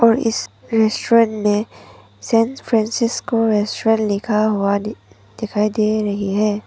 और इस रेस्टोरेंट में सैन फ्रांसिस्को रेस्टोरेंट लिखा हुआ दी दिखाई दे रही है।